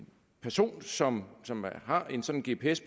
person som har en sådan gps